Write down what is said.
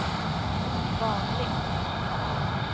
vanligt